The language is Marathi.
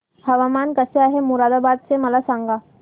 हवामान कसे आहे मोरादाबाद चे मला सांगा